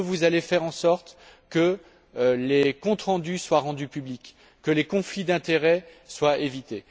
Est ce que vous allez faire en sorte que les comptes rendus soient rendus publics, que les conflits d'intérêt soient évités?